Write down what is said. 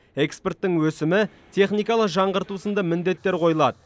экспорттың өсімі техникалық жаңғырту сынды міндеттер қойылады